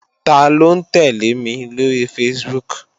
Taló ń tẹ́lẹ̀ mi lóri Facebook?